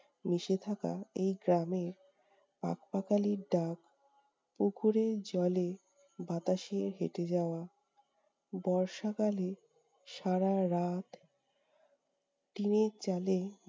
মিশে থাকা এই গ্রামের পাখ-পাখালির ডাক, পুকুরের জলে বাতাসের হেঁটে যাওয়া, বর্ষাকালে সারা রাত টিনের চালে